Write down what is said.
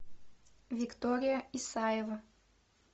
виктория исаева